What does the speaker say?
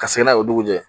Ka se n'a ye o dugu jɛ